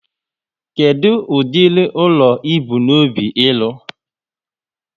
Kedu ụdịrị ụlọ ibu n'obi ịlụ?